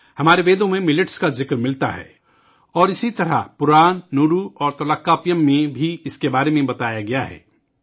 ہمارے ویدوں میں موٹے اناج کے بارے میں تحریر ملتی ہے اور اسی طرح پرانانورو اور تولکپیم میں بھی اس کا ذکر ملتا ہے